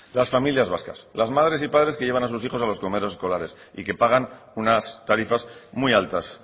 las familias vascas las madres y padres que llevan a sus hijos a los comedores escolares y que pagan unas tarifas muy altas